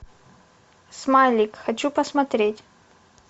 смайлик хочу посмотреть